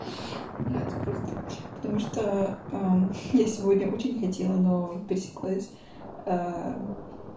блядь просто потому что я сегодня очень не хотела но пересеклась